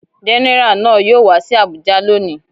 Gẹ́nẹrà náà yóò wá sí Abùjá lóni.